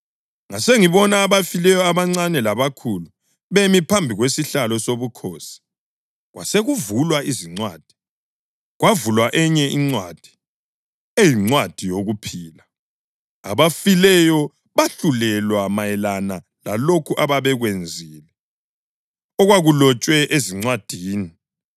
Ngasengibona abafileyo, abancane labakhulu, bemi phambi kwesihlalo sobukhosi, kwasekuvulwa izincwadi. Kwavulwa enye incwadi, eyincwadi yokuphila. Abafileyo bahlulelwa mayelana lalokho ababekwenzile okwakulotshwe ezincwadini.